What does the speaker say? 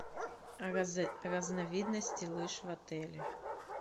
разновидности лыж в отеле